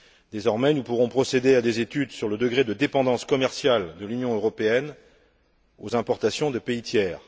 Désormais, nous pourrons procéder à des études sur le degré de dépendance commerciale de l'Union européenne vis à vis des importations de pays tiers.